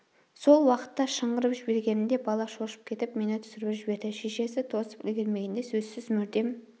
сол уақытта шыңғырып жібергенімде бала шошып кетіп мені түсіріп жіберді шешесі тосып үлгермегенде сөзсіз мүрдем